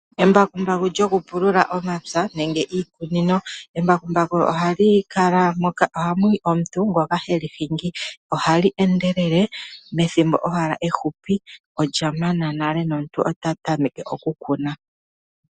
Embakumbaku lyo kupulula omapya nenge iikunino. Embakumbaku oha likala moka. Oha muyi omuntu ngoka heli hingi ohali endelele methimbo owala ehupi olya mana nale nomuntu ota tameke oku kuna.